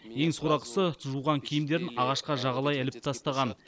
ең сорақысы жуған киімдерін ағашқа жағалай іліп тастаған